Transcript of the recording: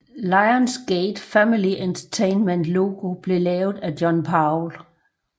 Lions Gate Family Entertainments logo blev lavet af John Powell